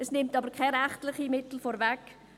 Es nimmt aber keine rechtlichen Mittel vorneweg.